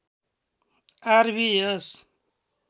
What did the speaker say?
are V S